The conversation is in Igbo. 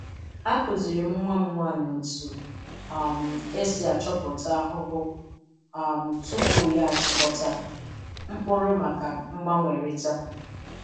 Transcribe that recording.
Akuziri m nwa m nwanyi otu um e si achọpụta ahụhụ um tupu ya achịkọta mkpuru maka mgbanwerịta.